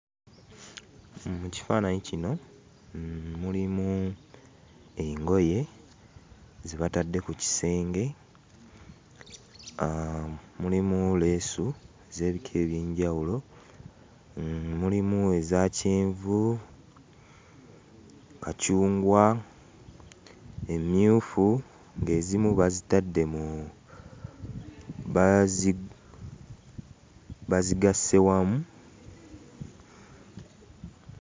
Mu kifaananyi kino mulimu engoye ze batadde ku kisenge, mulimu leesu ez'ebika eby'enjawulo: mulimu eza kyenvu, kacungwa, emmyufu ng'ezimu bazigasse wamu.